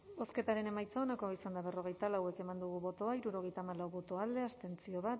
bozketaren emaitza onako izan da berrogeita lau eman dugu bozka hirurogeita hamalau boto alde bat abstentzio